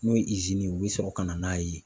N'o ye ye, u bɛ sɔrɔ ka na n'a ye.